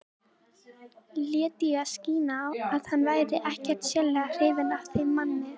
Lét í það skína að hann væri ekkert sérlega hrifinn af þeim manni.